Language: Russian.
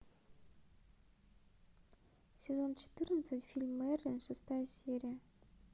сезон четырнадцать фильм мерлин шестая серия